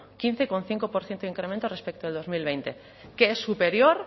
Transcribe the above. quince coma cinco por ciento de incremento respecto del dos mil veinte que es superior